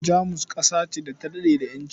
Jamus ƙasa ce da ta daɗe da ƴanci